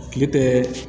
Kile tɛ